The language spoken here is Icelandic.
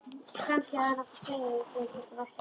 Kannski hefði hann átt að segja þeim hvert hann ætlaði.